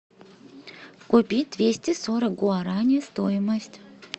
купить двести сорок гуарани стоимость